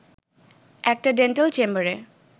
একটা ডেন্টাল চেম্বারে